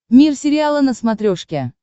мир сериала на смотрешке